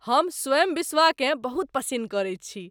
हम स्वयं बिश्वाकेँ बहुत पसिन्न करैत छी।